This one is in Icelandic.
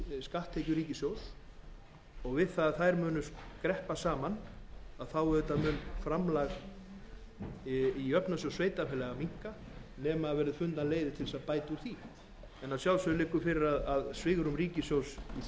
skatttekjur ríkissjóðs og þegar þær skreppa saman mun framlag í jöfnunarsjóð sveitarfélaga minnka nema fundnar verði leiðir til að bæta úr því en að sjálfsögðu liggur fyrir að svigrúm ríkissjóðs í þeim efnum sem öðrum